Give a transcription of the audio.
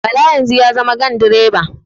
Bala yanzu ya zama gandiroba